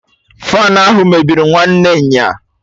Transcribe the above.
Faanụ ahụ mebiri nwanne nya